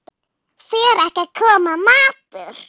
Fer ekki að koma matur?